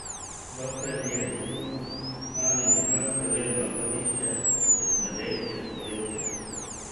Dokler je bilo na Mali Mežakli le odlagališče, je smrdelo čez poletje.